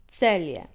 Celje.